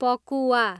पकुवा